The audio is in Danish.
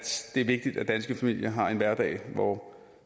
det er vigtigt at danske familier har en hverdag hvor